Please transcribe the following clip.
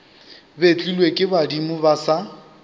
betlilwe ke badimo ba sa